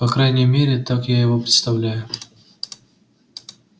по крайней мере так я его представляю